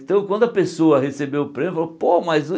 Então quando a pessoa recebeu o prêmio, falou, pô, mas